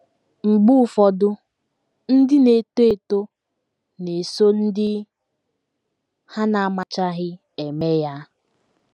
Mgbe ụfọdụ, ndị na - eto eto na - eso ndị ha na - amachaghị eme ya.